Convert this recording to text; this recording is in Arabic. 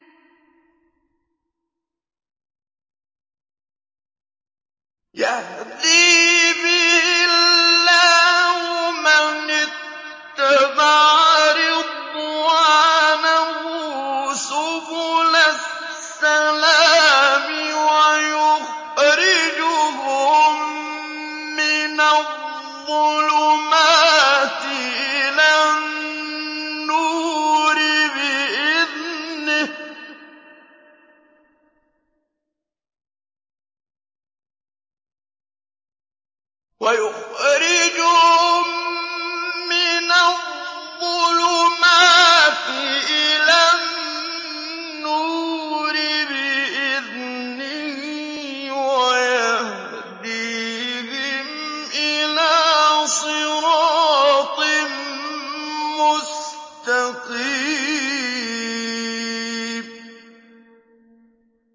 يَهْدِي بِهِ اللَّهُ مَنِ اتَّبَعَ رِضْوَانَهُ سُبُلَ السَّلَامِ وَيُخْرِجُهُم مِّنَ الظُّلُمَاتِ إِلَى النُّورِ بِإِذْنِهِ وَيَهْدِيهِمْ إِلَىٰ صِرَاطٍ مُّسْتَقِيمٍ